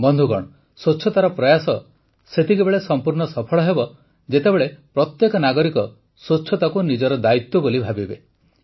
ବନ୍ଧୁଗଣ ସ୍ୱଚ୍ଛତାର ପ୍ରୟାସ ସେତେବେଳେ ସମ୍ପୂର୍ଣ୍ଣ ସଫଳ ହେବ ଯେତେବେଳେ ପ୍ରତ୍ୟେକ ନାଗରିକ ସ୍ୱଚ୍ଛତାକୁ ନିଜର ଦାୟିତ୍ୱ ବୋଲି ଭାବିବେ